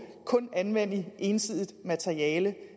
anvende ensidigt materiale